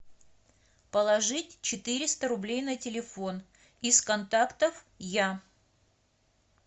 положить четыреста рублей на телефон из контактов я